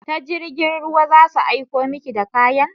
Ta jirgin ruwa za su aiko miki da kayan?